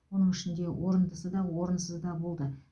оның ішінде орындысы да орынсызы да болды